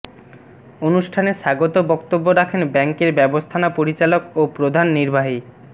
অনুষ্ঠানে স্বাগত বক্তব্য রাখেন ব্যাংকের ব্যবস্থাপনা পরিচালক ও প্রধান নির্বাহী মো